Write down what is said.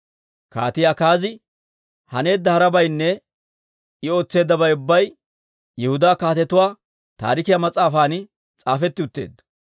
Kaatii Akaazi haneedda harabaynne I ootseeddabay ubbay Yihudaa Kaatetuwaa Taarikiyaa mas'aafan s'aafetti utteedda.